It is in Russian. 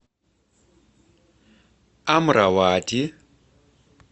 амравати